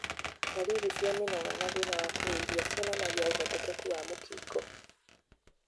Ndaririri cia mĩnoga na thĩna wa kũhuhia cionanagia ũhotekeku wa mũkingo.